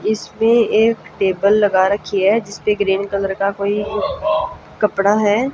इसमें एक टेबल लगा रखी है जिस पे ग्रीन कलर का कोई कपड़ा है।